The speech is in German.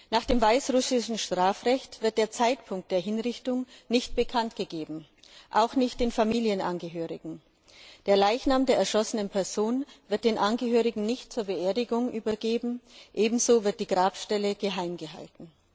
Nach dem weißrussischen Strafrecht wird der Zeitpunkt der Hinrichtung nicht bekanntgegeben, auch nicht den Familienangehörigen. Der Leichnam der erschossenen Person wird den Angehörigen nicht zur Beerdigung übergeben, ebenso wird die Grabstelle geheim gehalten.